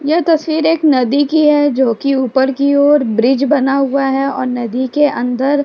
यह तस्वीर एक नदी की है जो कि ऊपर की और ब्रीज़ बना हुआ है और नदी के अंदर --